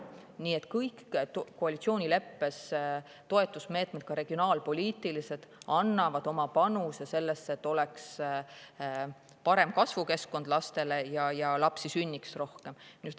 Nii et kõik koalitsioonileppes olevad toetusmeetmed, ka regionaalpoliitilised, annavad oma panuse sellesse, et lastel oleks parem kasvukeskkond ja et lapsi sünniks rohkem.